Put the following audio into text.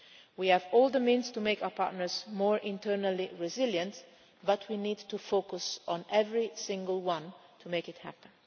We have all the means to make our partners more internally resilient, but we need to focus on every single one to make it